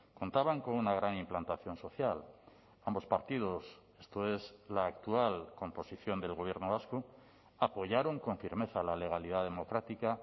contaban con una gran implantación social ambos partidos esto es la actual composición del gobierno vasco apoyaron con firmeza la legalidad democrática